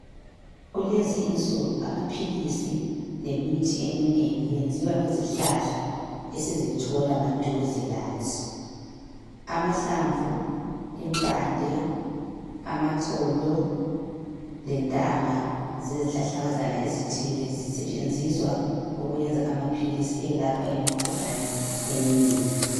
Kulezi insuku amaphilisi lemithi eminengi kwenziwa ngezihlahla esizithola maduze lathi. Amahlamvu, impande, amaxolo lentanga zezihlahlakazana ezithile zisetshenziswe ukwenza amaphilisi elapha imikhuhlane eminengi.